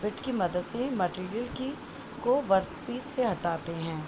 Bit की मदद से मटिरिअल की को वर्क पिस से हटाते हैं।